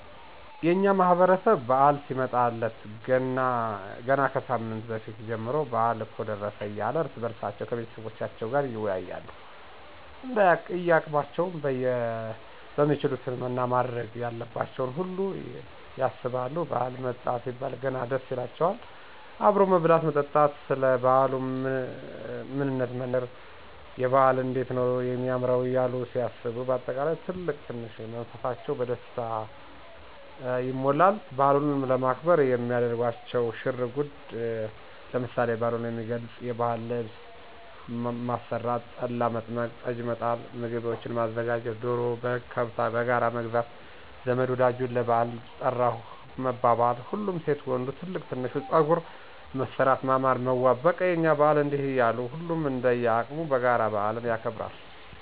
የእኛ ማህበረሰብ በዓል ሲመጣለት ገና ከሳምንት በፊት ጀምሮ በአል እኮ ደረሰ እያሉ እርስ በእርሳቸዉ ከቤተሰቦቻቸዉም ጋር ይወያያሉ እንደያቅማቸዉም የሚችሉትን ማድረግ ያለባቸውን ሁሉ ያሰባሉ ባዓል መጣ ሲባል ገና ደስ ይላቸዋል አብሮ መብላት መጠጣቱ፣ ሰለ ባዓሉ ምንነት መነጋገሩ፣ የበዓል እንዴት ነዉ የማምረዉ እያሉ ሲያስቡ በአጠቃላይ ትልቅ ትንሹ መንፈሳቸዉ በደስታ ይሞላል። በዓሉንም ለማክበር የሚያደርጓቸዉ ሽር እንጉድ ለምሳሌ፦ በዓሉን የሚገልፅ የባዕል ልብስ ማሰራት፣ ጠላ፣ መጥመቅ፣ ጠጅ፣ መጣል፣ ምግቦችን ማዘጋጀት፣ ዶሮ፣ በግ፣ ከብት በጋራ መግዛት ዘመድ ወዳጁን ለባዕል ጠራሁህ መባባል፣ ሁሉም ሴት ወንዱ ትልቅ ትንሹ ፀጉር መሠራት ማማር መዋብ በቃ የእኛ በዓል እንዲህ እያሉ ሁሉም እንደየቅሙ በጋራ በአልን ያከብራል።